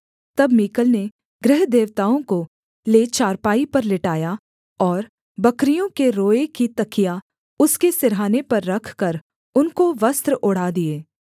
तब मीकल ने गृहदेवताओं को ले चारपाई पर लिटाया और बकरियों के रोए की तकिया उसके सिरहाने पर रखकर उनको वस्त्र ओढ़ा दिए